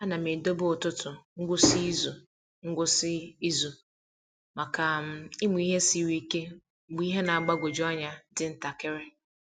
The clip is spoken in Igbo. A na m edobe ụtụtụ ngwụsị izu ngwụsị izu maka um ịmụ ihe siri ike mgbe ihe na-agbagwoju anya dị ntakịrị.